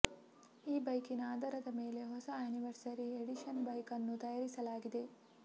ಈ ಬೈಕಿನ ಆಧಾರದ ಮೇಲೆ ಹೊಸ ಆನಿವರ್ಸರಿ ಎಡಿಷನ್ ಬೈಕ್ ಅನ್ನು ತಯಾರಿಸಲಾಗಿದೆ